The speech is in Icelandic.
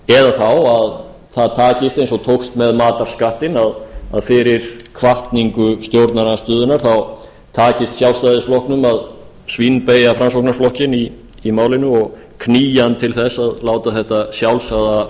þá að það takist eins og tókst með matarskattinn að fyrir hvatningu stjórnarandstöðunnar takist sjálfstæðisflokknum að svínbeygja framsóknarflokkinn í málinu og knýja hann til að láta þetta sjálfsagða